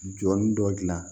Jɔn dɔ dilan